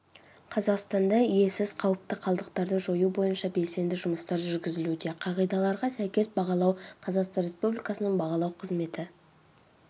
қазақстанда иесіз қауіпті қалдықтарды жою бойынша белсенді жұмыстар жүргізілуде қағидаларға сәйкес бағалау қазақстан республикасының бағалау қызметі